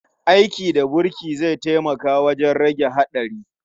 Aiki da burki zai taimaka wajen rage haɗari.